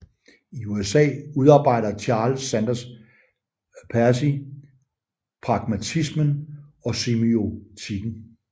I USA udarbejder Charles Sanders Peirce pragmatismen og semiotikken